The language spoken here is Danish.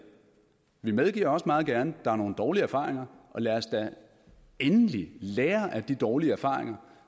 vi medgiver også meget gerne at der er nogle dårlige erfaringer og lad os da endelig lære af de dårlige erfaringer